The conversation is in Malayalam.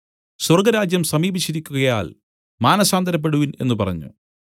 സ്വർഗ്ഗരാജ്യം സമീപിച്ചിരിക്കുകയാൽ മാനസാന്തരപ്പെടുവിൻ എന്നു പറഞ്ഞു